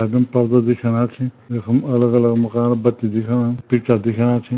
यखम पर्दा दिखेणा छी यखम अलग-अलग मकान बत्ती दिखेणा पिक्चर दिखेणा छी।